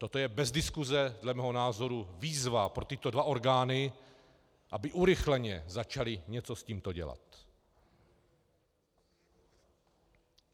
Toto je bez diskuse dle mého názoru výzva pro tyto dva orgány, aby urychleně začaly něco s tímto dělat.